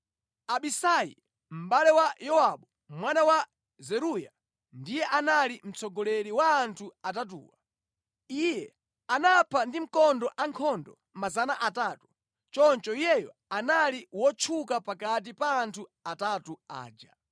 Abisai mʼbale wa Yowabu mwana wa Zeruya ndiye anali mtsogoleri wa anthu atatuwa. Iye anapha ndi mkondo ankhondo 300, choncho iyeyo anali wotchuka pakati pa anthu atatu aja.